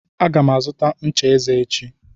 Aga m azụta ncha eze echi